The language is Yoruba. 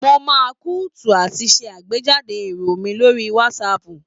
Mo máa ń kúndùn àti ṣe àgbéjáde èrò mi lórí WhatsApp.